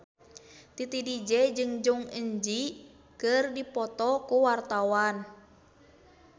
Titi DJ jeung Jong Eun Ji keur dipoto ku wartawan